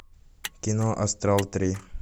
кино астрал три